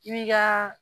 I bi ka